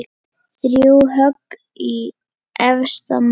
Þrjú högg í efsta mann.